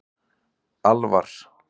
Alvar